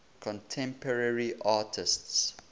contemporary artists